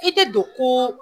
I tɛ don koo